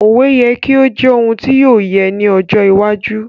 Òwe yẹ ki o jẹ oun ti o yẹ ni ojo iwájú